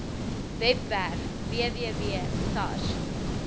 webwerf www sars